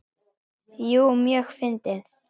Jú, mjög fyndið.